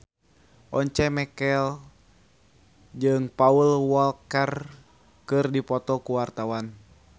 Once Mekel jeung Paul Walker keur dipoto ku wartawan